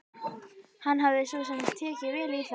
Hann hafði svo sem tekið vel í það.